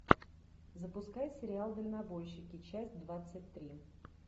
запускай сериал дальнобойщики часть двадцать три